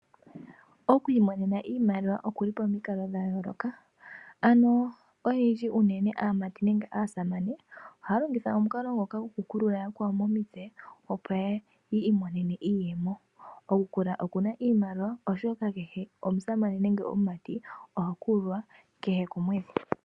Okwiimonena iimaliwa okuli pomikalo dhayooloka, ano oyendji uunene aamati nenge aasamane ohaya longitha omukalo ngoka goku kulula yakwawo momitse opo yiimonene iiyemo. Oku kulula okuna iimaliwa oshoka kehe omusamane nenge omumati oha kululwa kehe komwedhi.